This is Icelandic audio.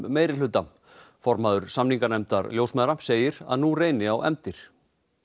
meirihluta formaður samninganefndar ljósmæðra segir að nú reyni á efndir